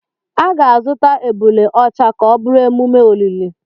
A ga-azụta ebule ọcha ka ọ bụrụ emume olili.